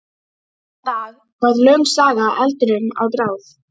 Þennan dag varð löng saga eldinum að bráð.